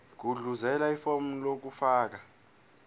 gudluzela ifomu lokufaka